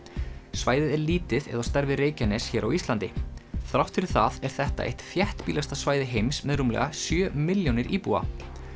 svæðið er lítið eða á stærð við Reykjanes hér á Íslandi þrátt fyrir það er þetta eitt þéttbýlasta svæði heims með rúmlega sjö milljónir íbúa